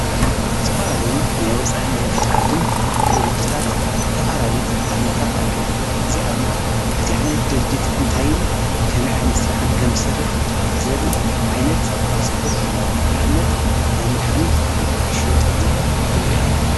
ተፈላለዩ ናይ ወፃን ናይ ውሽጥዓድን ድርጅታት ሰፋላሊጽ ኣርማታት ኣለዎም እዚኣርማ እቲ ዓይነት ድርጅት እንታይን ከመ ዓይነት ሥራሕን ከም ሠርሕ ዘር ዓይነት ጽሑፍ እዩ ናእምነት ናይ መድኃኒት እሽየጠሉ ዘርኢ ኣለው።